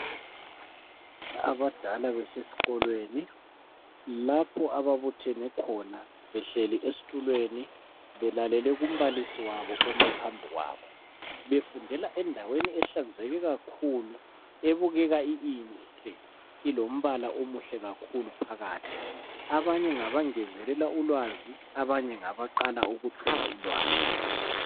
abadala besesikolweni lapho ababuthene khona behleli esitulweni belalele umbalisi wabo ome phambi kwabo befundela endaweni ehlanzeke kakhulu ebukeka inhle ilombala omuhle kakhulu phakathi abanye ngabangezelela ulwazi abanye ngabaqala ukuthola ulwazi